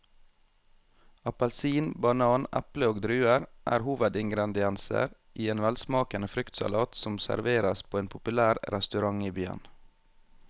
Appelsin, banan, eple og druer er hovedingredienser i en velsmakende fruktsalat som serveres på en populær restaurant i byen.